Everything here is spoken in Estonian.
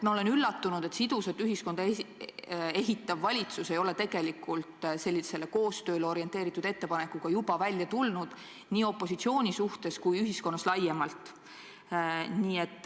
Ma olen üllatunud, et sidusat ühiskonda ehitav valitsus ei ole sellisele koostööle orienteeritud ettepanekuga juba välja tulnud, seda nii opositsiooni silmas pidades kui ka ühiskonnas laiemalt.